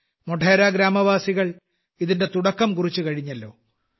മോഢേര ഗ്രാമവാസികൾ ഇതിന്റെ തുടക്കം കുറിച്ചുകഴിഞ്ഞല്ലോ